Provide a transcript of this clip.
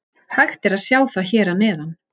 Hægt er að sjá það hér að neðan.